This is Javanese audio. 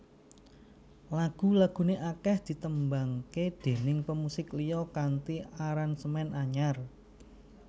Lagu laguné akèh ditembangaké déning pemusik liya kanthi aransemen anyar